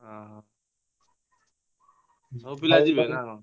ଅହ। ସବୁ ପିଲା ଯିବେ ନା କଣ?